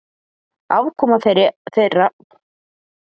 Afkoma þeirra hefur versnað mjög.